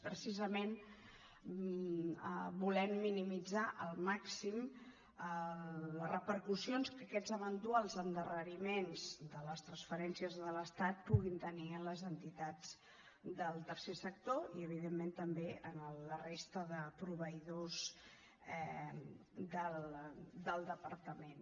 precisament volem minimitzar al màxim les repercussions que aquests eventuals endarreriments de les transferències de l’estat puguin tenir en les entitats del tercer sector i evidentment també en la resta de proveïdors del departament